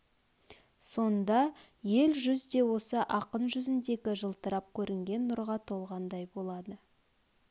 сонда ел жүз де осы ақын жүзіндегі жылтырап көрінген нұрға толғандай болады